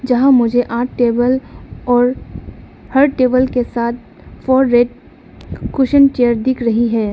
यहां मुझे आठ टेबल और हर टेबल के साथ फोर रेड कुशन चेयर दिख रही है।